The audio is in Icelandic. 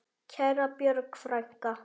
Kæra Björg frænka.